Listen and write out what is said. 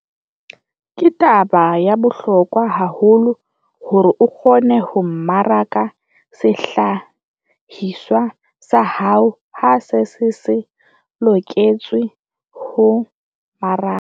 Ke taba ya bohlokwa haholo hore o kgone ho mmaraka sehlahiswa sa hao ha se se se loketse ho mmarakwa.